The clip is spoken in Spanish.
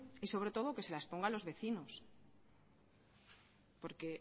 y sobre todo que se la exponga a los vecinos porque